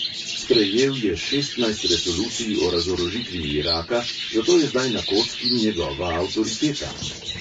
Sprejel je šestnajst resolucij o razorožitvi iraka, zato je zdaj na kocki njegova avtoriteta.